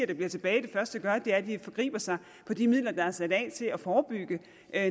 der bliver tilbage at forgribe sig på de midler der er sat af til at forebygge